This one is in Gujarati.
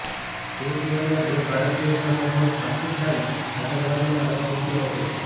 તે સિવાયના બે ભારતીયો સામે પણ પાકિસ્તાને આતંકવાદનો આરોપ મૂક્યો હતો